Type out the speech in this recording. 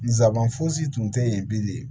Nsaban fosi tun tɛ yen bilen